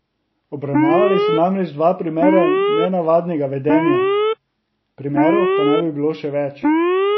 Obravnavali so namreč dva primera nenavadnega vedenja, primerov pa naj bi bilo še več.